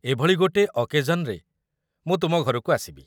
ଏଭଳି ଗୋଟେ ଅକେଜନ୍‌ରେ ମୁଁ ତୁମ ଘରକୁ ଆସିବି ।